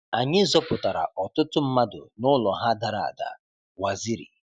Anyị zọpụtara ọtụtụ mmadụ nụlọ ha dara ada-Waziri